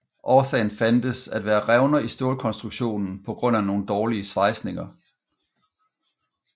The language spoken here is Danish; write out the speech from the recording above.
Årsagen fandtes at være revner i stålkonstruktionen pga nogle dårlige svejsninger